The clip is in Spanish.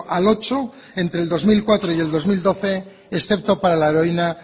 al ocho por ciento entre el dos mil cuatro y el dos mil doce excepto para la heroína